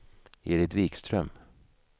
Edit Wikström